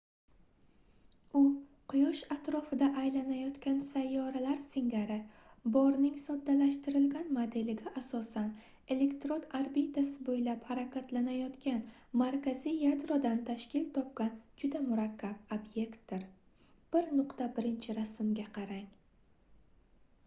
u quyosh atrofida aylanayotgan sayyoralar singari borning soddalashtirilgan modeliga asosan elektron orbitasi boʻylab harakatlanayongan markaziy yadrodan tashkil topgan juda murakkab obyektdir - 1.1-rasmga qarang